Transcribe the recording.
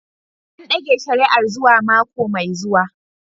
An dage shari'ar zuwa mako mai zuwa.